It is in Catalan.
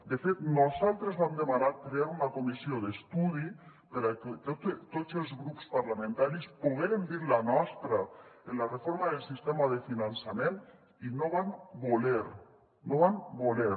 de fet nosaltres vam demanar crear una comissió d’estudi perquè tots els grups parlamentaris poguérem dir la nostra en la reforma del sistema de finançament i no van voler no van voler